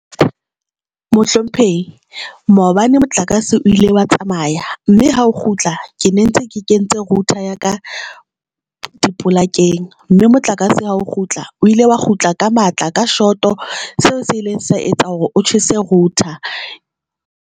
Mohlomphehi maobane motlakase o ile wa tsamaya, mme ha o kgutla ke ne ntse ke kentse router ya ka dipolakeng. Mme motlakase ha o kgutla o ile wa kgutla ka matla ka shot, seo se ileng sa etsa hore o tjhese router.